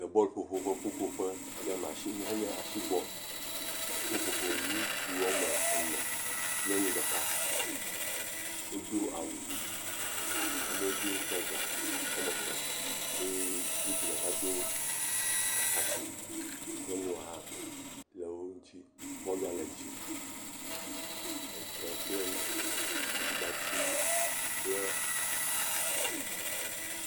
Le bɔlƒoƒo ƒe ƒuƒoƒe ɖe hã nye asi bɔl, woƒoƒo, ŋutsu woame ene, nyɔnu ɖeka, wodo awu, amewo do trɔza woame etɔ̃, eye ŋutsu ɖeka do atakpui, nyɔnua hã le wo ŋuti, bɔlua le dzi, ede kple aɖibati kple.